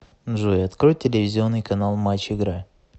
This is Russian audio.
джой открой телевизионный канал матч игра